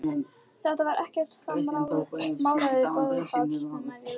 Þetta var ekkert smáræðis boðafall sem ég lenti í!